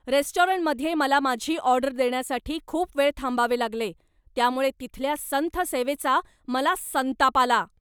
रेस्टॉरंटमध्ये मला माझी ऑर्डर देण्यासाठी खूप वेळ थांबावे लागले, त्यामुळे तिथल्या संथ सेवेचा मला संताप आला.